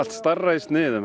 stærra í sniðum